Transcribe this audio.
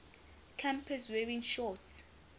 campus wearing shorts